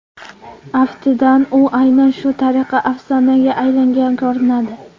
Aftidan, u aynan shu tariqa afsonaga aylangan ko‘rinadi.